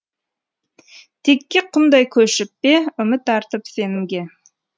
текке құмдай көшіп пе үміт артып сенімге